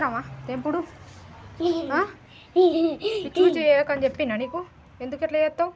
చేసినవా తెంపుడు పిచ్చి పిచ్చి చేయకని చెప్పిన్నా నీకు. ఎందుగట్లా చెత్తావ్.